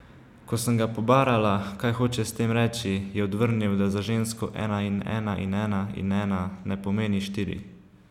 Ko sem ga pobarala, kaj hoče s tem reči, je odvrnil, da za žensko ena in ena in ena in ena ne pomeni štiri.